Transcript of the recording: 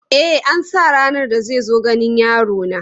E, an sa ranar da zai zo ganin yarona.